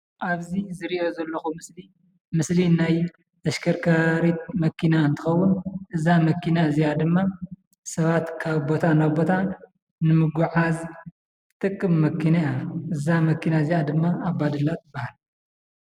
አብዚ ዝሪኦ ዘለኩ ምስሊ ምስሊ ናይ ተሽከርካሪት መኪና እንትኸውን እዛ መኪና እዚአ ድማ ሰባት ካብ ቦታ ናብ ቦታ ንምጉዕዓዝ ትጠቅም መኪና እያ። እዚአ ድማ አባዱላ ትበሃል።